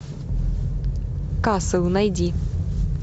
касл найди